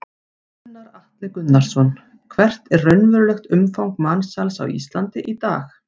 Gunnar Atli Gunnarsson: Hvert er raunverulegt umfang mansals á Íslandi í dag?